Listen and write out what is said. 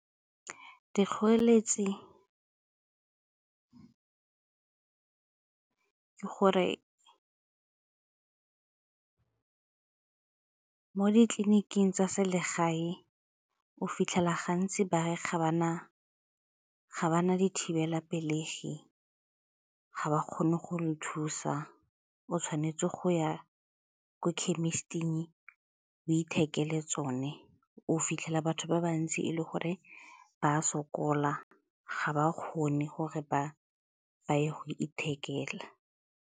Dikgoreletsi ke gore ke ko ditleliniking tsa selegae o fitlhela gantsi ba re ga ba na dithibelapelegi, ga ba kgone go le thusa, o tshwanetse go ya ko khemisiting, o ithekele tsone, o fitlhela batho ba bantsi e le gore ba sokola ga ba kgone gore ba ye go ithekela.